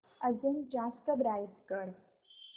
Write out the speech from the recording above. अजून जास्त ब्राईट कर